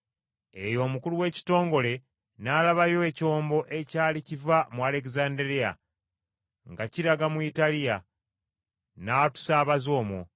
Eyo omukulu w’ekitongole n’alabawo ekyombo ekyali kiva mu Alegezanderiya nga kiraga mu Italiya, n’atusaabaza omwo.